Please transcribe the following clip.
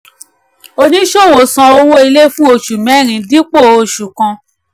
oníṣòwò san owó ilé fún oṣù mẹ́rin dípò oṣù kan.